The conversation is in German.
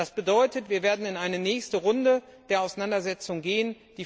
Das bedeutet, wir werden in eine nächste Runde der Auseinandersetzung gehen.